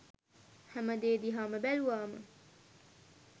හැම දේ දිහාම බැලුවාම